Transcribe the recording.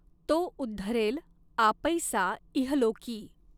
तॊ उद्धरॆल आपैसा इहलॊकीं.